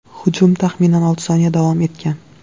Hujum taxminan olti soniya davom etgan.